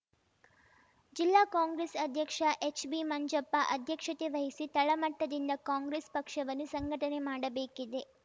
ಜಿಲ್ಲಾ ಕಾಂಗ್ರೆಸ್‌ ಅಧ್ಯಕ್ಷ ಎಚ್‌ಬಿ ಮಂಜಪ್ಪ ಅಧ್ಯಕ್ಷತೆ ವಹಿಸಿ ತಳಮಟ್ಟದಿಂದ ಕಾಂಗ್ರೆಸ್‌ ಪಕ್ಷವನ್ನು ಸಂಘಟನೆ ಮಾಡಬೇಕಿದೆ